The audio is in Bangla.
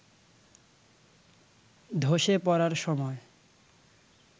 ধসে পড়ার সময়